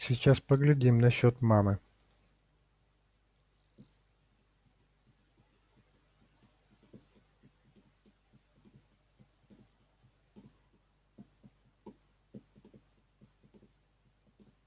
сейчас поглядим насчёт мамы